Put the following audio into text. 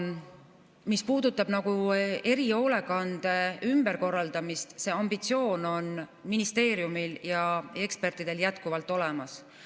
Mis puudutab erihoolekande ümberkorraldamist, siis see ambitsioon on ministeeriumil ja ekspertidel jätkuvalt olemas.